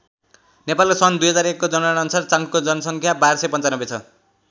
नेपालको सन् २००१को जनगणना अनुसार चांखुको जनसङ्ख्या १२९५ छ।